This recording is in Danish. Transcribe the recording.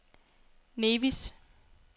Nevis